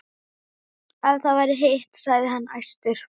Ef það var hitt, sagði hann æstur: